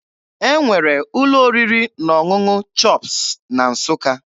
E nwere ụlọ oriri na ọṅụṅụ CHOPS na Nsụka.